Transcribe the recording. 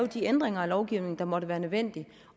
de ændringer af lovgivningen der måtte være nødvendige